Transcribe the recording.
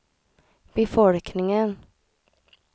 befolkningen